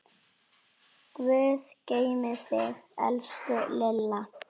Guð geymi þig, elsku Lilla.